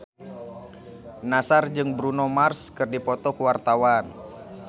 Nassar jeung Bruno Mars keur dipoto ku wartawan